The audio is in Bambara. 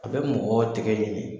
A bɛ mɔgɔ tɛgɛ ɲimi